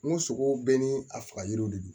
N ko sogo bɛɛ ni a faga yiriw de don